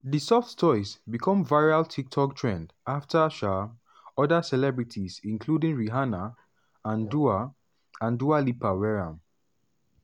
di soft toys becomeviral tiktok trendafter um oda celebrities including rihanna and dua and dua lipa wear am.